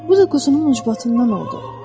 Bu da quzunun ucbatından oldu.